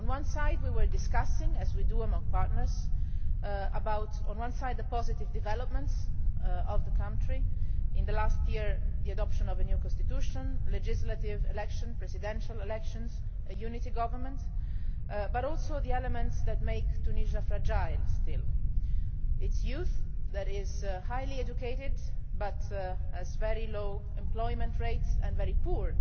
On the one hand, we were discussing, as we do among partners, the positive developments in the country in the last year the adoption of a new constitution, legislative elections, presidential elections, a unity government and also the elements that make Tunisia fragile still its youth, which is highly educated but has very low employment rates and very poor